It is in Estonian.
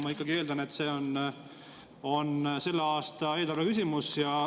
Ma ikkagi eeldan, et see on selle aasta eelarve küsimus.